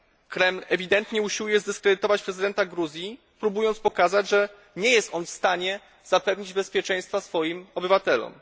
Kreml ewidentnie usiłuje zdyskredytować prezydenta Gruzji, próbując pokazać, że nie jest on w stanie zapewnić bezpieczeństwa swoim obywatelom.